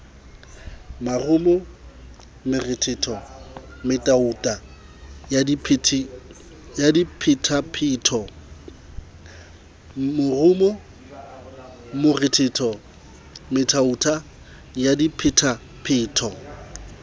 morumo morethetho metuta ya diphetapheto